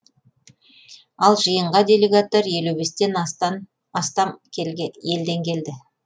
ал жиынға делегаттар елу бестен астам елден келді